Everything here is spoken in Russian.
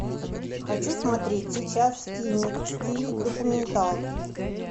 хочу смотреть сейчас фильмик в стиле документалки